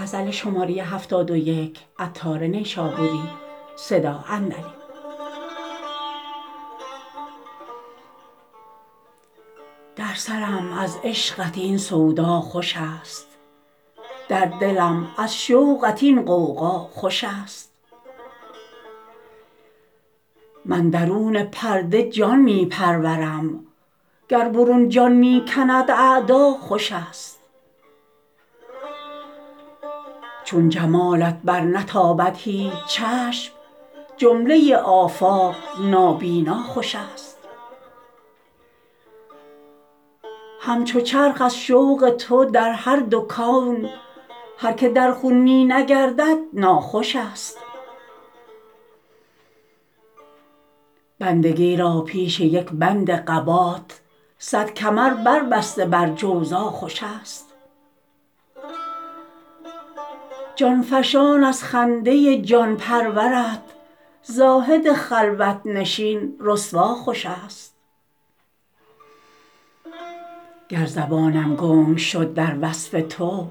در سرم از عشقت این سودا خوش است در دلم از شوقت این غوغا خوش است من درون پرده جان می پرورم گر برون جان می کند اعدا خوش است چون جمالت برنتابد هیچ چشم جمله آفاق نابینا خوش است همچو چرخ از شوق تو در هر دو کون هر که در خون می نگردد ناخوش است بندگی را پیش یک بند قبات صد کمر بر بسته بر جوزا خوش است جان فشان از خنده جان پرورت زاهد خلوت نشین رسوا خوش است گر زبانم گنگ شد در وصف تو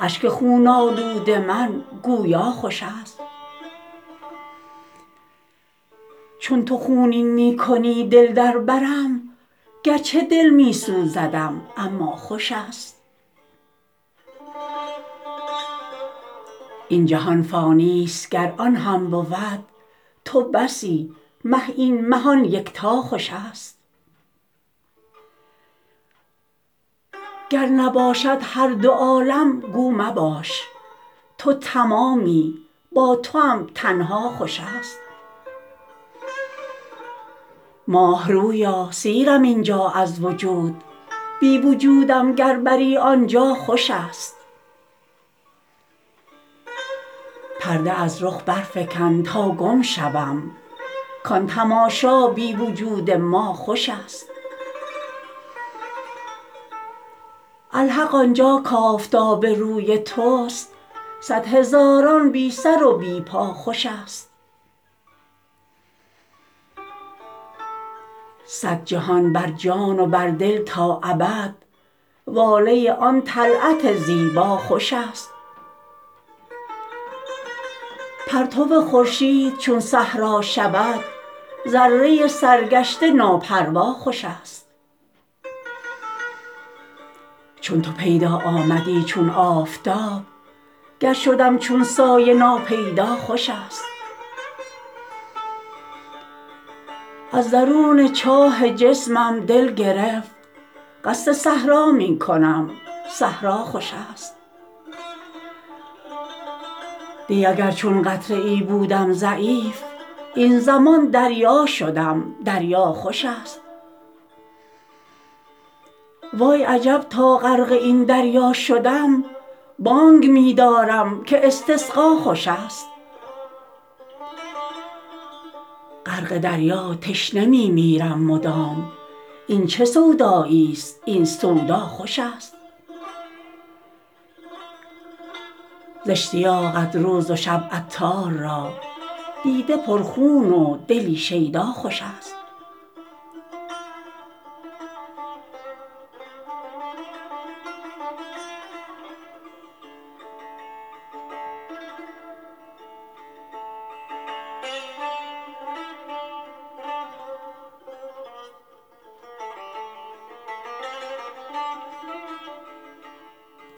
اشک خون آلود من گویا خوش است چون تو خونین می کنی دل در برم گرچه دل می سوزدم اما خوش است این جهان فانی است گر آن هم بود تو بسی مه این مه آن یکتا خوش است گر نباشد هر دو عالم گو مباش تو تمامی با توام تنها خوش است ماه رویا سیرم اینجا از وجود بی وجودم گر بری آنجا خوش است پرده از رخ برفکن تا گم شوم کان تماشا بی وجود ما خوش است الحق آنجا کآفتاب روی توست صد هزاران بی سر و بی پا خوش است صد جهان بر جان و بر دل تا ابد واله آن طلعت زیبا خوش است پرتو خورشید چون صحرا شود ذره سرگشته ناپروا خوش است چون تو پیدا آمدی چون آفتاب گر شدم چون سایه ناپیدا خوش است از درون چاه جسمم دل گرفت قصد صحرا می کنم صحرا خوش است دی اگر چون قطره ای بودم ضعیف این زمان دریا شدم دریا خوش است وای عجب تا غرق این دریا شدم بانگ می دارم که استسقا خوش است غرق دریا تشنه می میرم مدام این چه سودایی است این سودا خوش است ز اشتیاقت روز و شب عطار را دیده پر خون و دلی شیدا خوش است